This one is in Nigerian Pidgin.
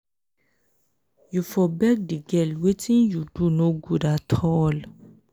you for beg di girl wetin you do no good at all.